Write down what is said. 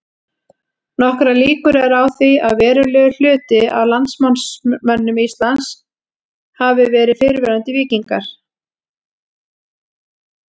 Nokkrar líkur eru á því að verulegur hluti af landnámsmönnum Íslands hafi verið fyrrverandi víkingar.